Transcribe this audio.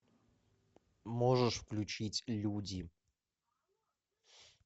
можешь включить люди